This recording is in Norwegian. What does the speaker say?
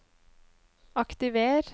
aktiver